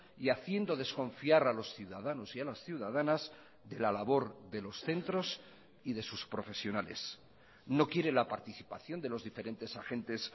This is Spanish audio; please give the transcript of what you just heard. y haciendo desconfiar a los ciudadanos y a las ciudadanas de la labor de los centros y de sus profesionales no quiere la participación de los diferentes agentes